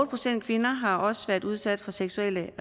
procent kvinder har også været udsat for seksuelle